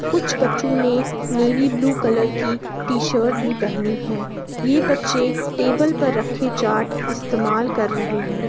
कुछ बच्चों ने नैवी ब्लू कलर की टी-शर्ट भी पहनी है। ये बच्चे टेबल पर रखे चार्ट इस्तेमाल कर रहे हैं।